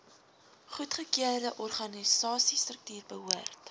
goedgekeurde organisasiestruktuur behoort